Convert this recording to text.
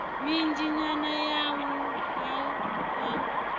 minzhi nyana ya wua a